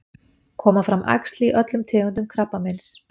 koma fram æxli í öllum tegundum krabbameins